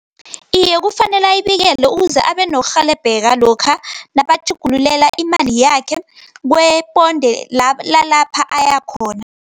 Iye, kufanele ayibikele, ukuze abe nokurhelebheka lokha, nabatjhugululela imali yakhe, kweyeponde lalapha ayakhona.